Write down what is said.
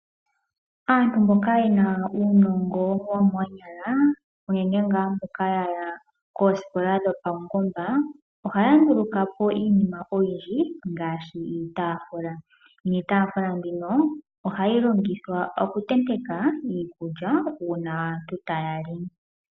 Aantu mboka yena uunongo womoonyala, uunene ngaa mboka ya ya koosikola dhopaungomba ohaya nduluka po iinima oyindji ngaashi iitaafula, niitaafula yawo ohayi longithwa okutenteka iikulya uuna aantu taya li.